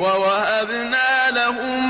وَوَهَبْنَا لَهُم